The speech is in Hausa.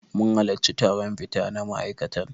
Mun halarci taron fita na ma'aikatan.